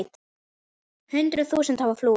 Hundruð þúsunda hafa flúið.